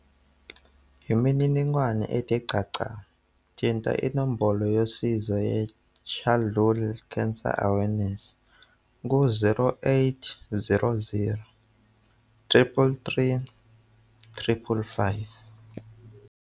Ngemininingwane ethe xaxa, thinta inombolo yosizo ye-CHOC ku-0800 333 555.